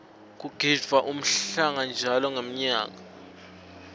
kugidvwa umhlanga njalo ngenmyaka